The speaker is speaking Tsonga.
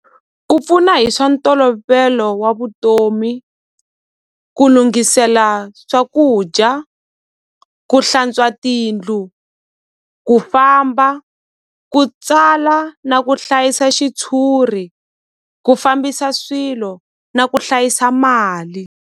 Ku pfuna hi swa ntolovelo wa vutomi ku lunghisela swakudya ku hlantswa tindlu ku famba ku tsala na ku hlayisa xitshuri ku fambisa swilo na ku hlayisa mali.